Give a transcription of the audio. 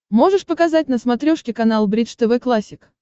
можешь показать на смотрешке канал бридж тв классик